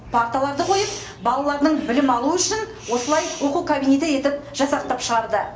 парталарды қойып балалардың білім алуы үшін осылай оқу кабинеті етіп жасақтап шығарды